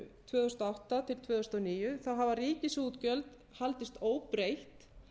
tvö þúsund og átta til tvö þúsund og níu hafa ríkisútgjöld haldist óbreytt